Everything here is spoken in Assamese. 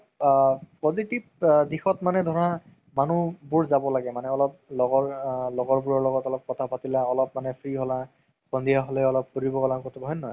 আ positive দিখত মানে ধৰা মানুহবোৰ যাব লাগে অলপ লগৰ আ লগৰবোৰ লগত কথা পাতিলা অলপ মানে free হ'লা সন্ধিয়া হ'লে অলপ ফুৰিব গ'লা কতো হয় নে নহয়